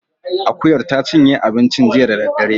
Akuyar ta cinye abinci jiya da daddare